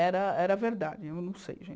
Era era verdade, eu não sei, gente.